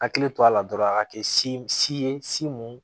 Hakili to a la dɔrɔn a ka kɛ ye